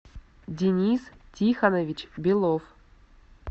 денис тихонович белов